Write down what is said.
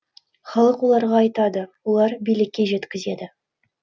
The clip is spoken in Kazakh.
халық оларға айтады олар билікке жеткізеді